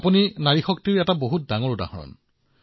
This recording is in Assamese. আপুনি নাৰী শক্তিৰ অত্যুত্তম উদাহৰণ